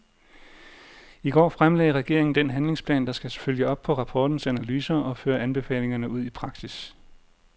I går fremlagde regeringen den handlingsplan, der skal følge op på rapportens analyser og føre anbefalingerne ud i praksis.